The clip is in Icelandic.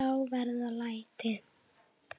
Þá verða læti.